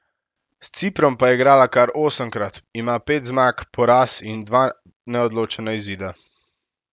S Ciprom pa je igrala kar osemkrat, ima pet zmag, poraz in dva neodločena izida.